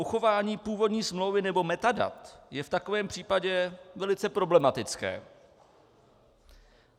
Uchování původní smlouvy nebo metadat je v takovém případě velice problematické.